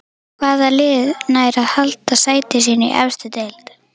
Hvaða lið nær að halda sæti sínu í efstu deild?